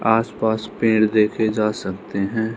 आसपास पेड़ देखे जा सकते हैं।